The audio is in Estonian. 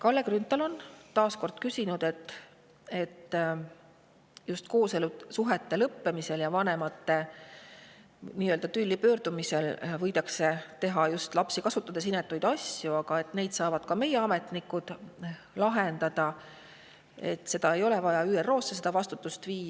Kalle Grünthal taas kord, et just kooselusuhete lõppemisel ja vanemate tülli pööramisel võidakse lapsi ära kasutades teha inetuid asju, aga et ka selliseid saavad meie ametnikud lahendada, ehk ei ole vaja ÜRO-sse seda vastutust viia.